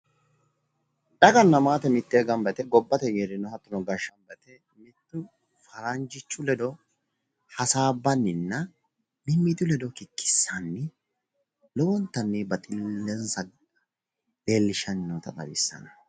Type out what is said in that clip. Daganna maate miteenni gambba yite gobbate geerrinno hattono gashshaano faranjjichu ledo hasaabbannina mimmitu ledo hikikkissanni lowontanni baxillenssa leellishshanni noota xawissanno.